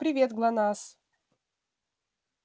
привет глонассс